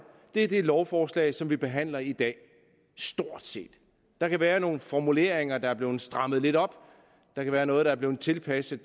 er det lovforslag som vi behandler i dag stort set der kan være nogle formuleringer der er blevet strammet lidt op der kan være noget der er blevet tilpasset